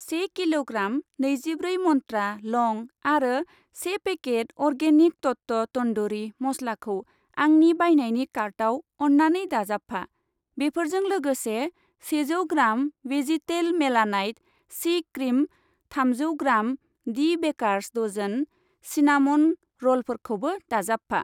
से किल'ग्राम, नैजिब्रै मन्त्रा लं आरो से पेकेट अर्गेनिक तत्व तन्दुरि मस्लाखौ आंनि बायनायनि कार्टाव अन्नानै दाजाबफा। बेफोरजों लोगोसे सेजौ ग्राम वेजितेल मेलानाइट सि क्रिम, थामजौ gram the baker's dozen cinnamon र'लफोरखौबो दाजाबफा।